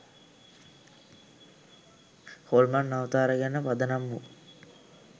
හොල්මන් අවතාර ගැන පදනම් වූ